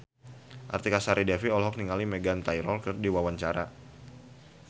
Artika Sari Devi olohok ningali Meghan Trainor keur diwawancara